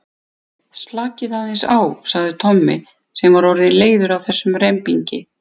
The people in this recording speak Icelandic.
Slakið aðeins á sagði Tommi sem var orðinn leiður á þessum rembingi.